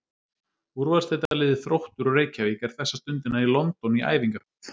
Úrvalsdeildarliðið Þróttur úr Reykjavík er þessa stundina í London í æfingaferð.